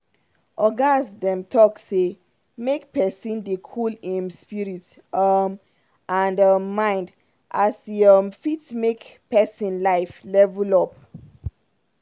ogas dem don talk say make pesin dey cool im spirit um and um mind as e um fit make pesin life level up.